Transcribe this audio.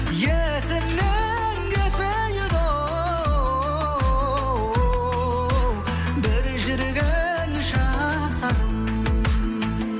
есімнен кетпейді оу бір жүрген шақтарым